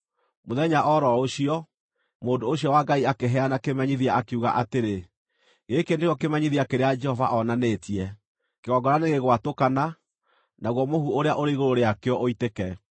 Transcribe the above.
Mũthenya o ro ũcio, mũndũ ũcio wa Ngai akĩheana kĩmenyithia, akiuga atĩrĩ: “Gĩkĩ nĩkĩo kĩmenyithia kĩrĩa Jehova onanĩtie: Kĩgongona nĩgĩgwatũkana, naguo mũhu ũrĩa ũrĩ igũrũ rĩakĩo ũitĩke.”